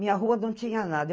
Minha rua não tinha nada.